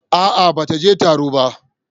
A'a, ba ta je taro ba.